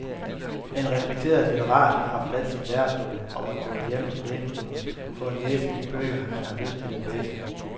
En respekteret litterat har forladt sin lærestol og er gået hjem til lænestolen for at læse de bøger, han selv har lyst til at læse.